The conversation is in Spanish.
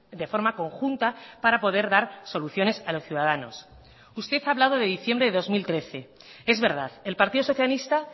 de forma conjunta para poder dar soluciones a los ciudadanos usted ha hablado de diciembre de dos mil trece es verdad el partido socialista